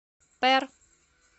пэр